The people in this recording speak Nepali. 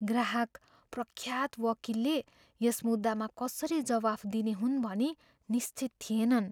ग्राहक प्रख्यात वकिलले यस मुद्दामा कसरी जवाफ दिने हुन् भनी निश्चित थिएनन्।